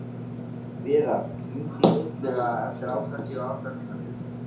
Viðar, hringdu í Illuga eftir áttatíu og átta mínútur.